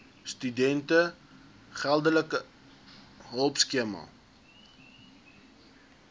studente geldelike hulpskema